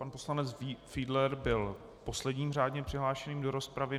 Pan poslanec Fiedler byl posledním řádně přihlášeným do rozpravy.